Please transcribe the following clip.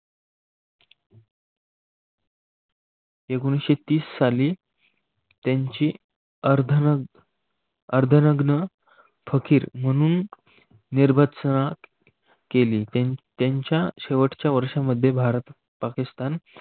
एकोणविससेतीस सालि त्यांची अर्धनग्न फकीर म्हणून निर्भतसण केली. त्यांच्या शेवटच्या वर्षांमध्ये भारत पाकिस्तान